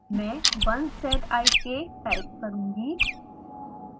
मैं 1zik one z i k type करुँगी